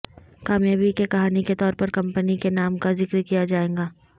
کامیابی کے کہانی کے طور پر کمپنی کے نام کا ذکر کیا جائے گا